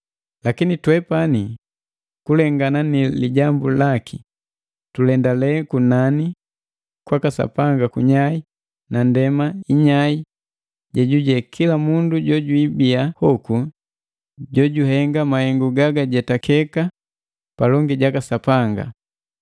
Lakini twepani, kulengana ni lilagi laki, tulendale kunani kwaka Sapanga kunyai na ndema nnyai jejuje kila mundu jojwibia hoku juhenga mahengu gagajetakiki palongi jaka Sapanga.